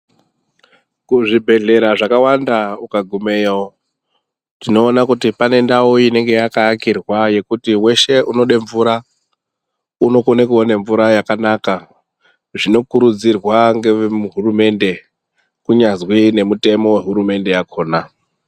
Kuzvibhedhlera zvakawanda ukagumeyo tinoona kuti panendawu inenge yakaakirwa yekuti weshe unode mvura unokone kuone mvura yakanaka zvinokurudzirwa ngevemuhurumende kunyazwi nemitemo yehurumende yakhona.